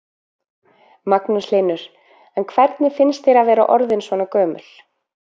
Magnús Hlynur: En hvernig finnst þér að vera orðin svona gömul?